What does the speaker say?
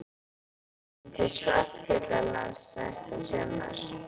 Við ætlum til Svartfjallalands næsta sumar.